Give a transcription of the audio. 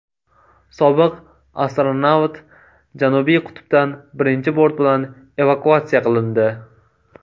Sobiq astronavt Janubiy qutbdan birinchi bort bilan evakuatsiya qilindi.